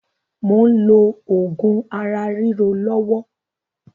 Mò ń lò oògùn ara ríro lọ́wọ́